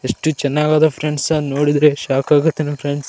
ಎಷ್ಟು ಚೆನ್ನಾಗಿದೆ ಫ್ರೆಂಡ್ಸ್ ನೋಡಿದ್ರೆ ಶೋಕ್ ಆಗುತ್ತೆ ಫ್ರೆಂಡ್ಸ್ .